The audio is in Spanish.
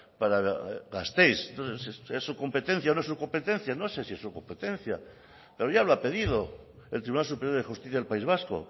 para gasteiz es su competencia o no es su competencia no sé si es su competencia pero ya lo ha pedido el tribunal superior de justicia del país vasco